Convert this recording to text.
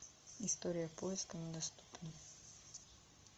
история поиска недоступна